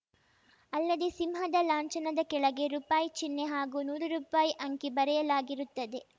ಅಲ್ಲದೆ ಸಿಂಹದ ಲಾಂಛನದ ಕೆಳಗೆ ರುಪಾಯಿ ಚಿಹ್ನೆ ಹಾಗೂ ನೂರು ರುಪಾಯಿ ಅಂಕಿ ಬರೆಯಲಾಗಿರುತ್ತದೆ